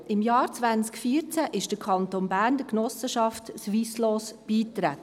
Im Jahr 2014 trat der Kanton Bern der Genossenschaft Swisslos bei.